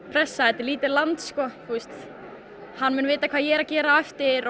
pressa þetta er lítið land sko þú veist hann mun vita hvað ég er að gera á eftir